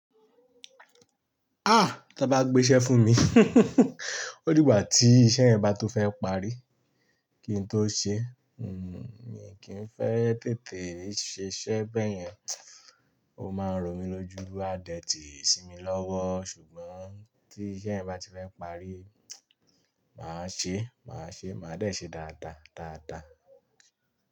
Ah! Tan bá gbé iṣẹ́ fún mi, ó dìgbà tí iṣẹ́ yẹn bá tó fẹ́ parí kí n tó ṣe. Mi kì í fẹ́ tètè ṣiṣẹ́ bẹ́yẹn, ó máa ń rò mí lójú, a dẹ̀ ti sì mí lọ́wọ́. Ṣùgbọ́n tí iṣẹ́ yẹn bá ti fẹ́ parí, màá ṣe, màá ṣe, màá dẹ̀ ṣe dáadáa, dáadáa.